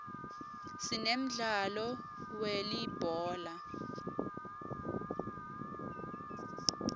sinemdlalo we uulibhola